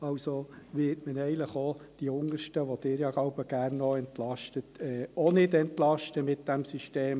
Also wird man ja eigentlich auch die Untersten, die Sie ja öfters gerne entlasten, mit diesem System auch nicht entlasten.